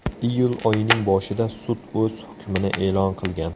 Iyul oyining boshida sud o‘z hukmini e’lon qilgan .